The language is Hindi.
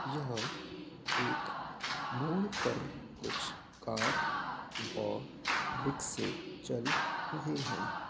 यहाँ एक मोड़ पर कुछ कार व रिक्शे चल रहे हैं |